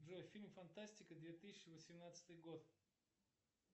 джой фильм фантастика две тысячи восемнадцатый год